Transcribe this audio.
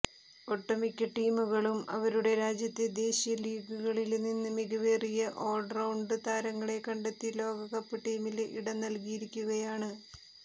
ഒട്ടുമിക്ക ടീമുകളും അവരുടെ രാജ്യത്തെ ദേശീയ ലീഗുകളില് നിന്ന് മികവേറിയ ഓള്റൌണ്ട് താരങ്ങളെ കണ്ടെത്തി ലോകകപ്പ് ടീമില് ഇടം നല്കിയിരിക്കുകയാണ്